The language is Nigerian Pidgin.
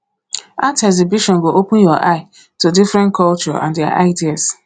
art exhibition go open your eye to different culture and their ideas